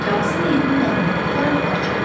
Kağızı meyidinin yanına ataraq qaçır.